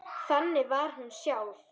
Þannig var hún sjálf.